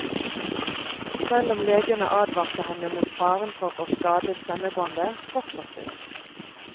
Selv om legene advarte henne mot faren for å skade stemmebåndet, fortsatte hun.